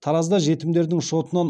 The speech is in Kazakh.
таразда жетімдердің шотынан